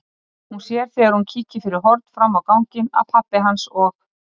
Hún sér þegar hún kíkir fyrir horn fram á ganginn að pabbi hans og